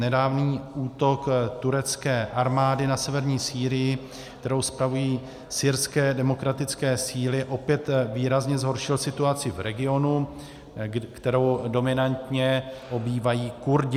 Nedávný útok turecké armády na severní Sýrii, kterou spravují syrské demokratické síly, opět výrazně zhoršil situaci v regionu, kterou dominantně obývají Kurdové.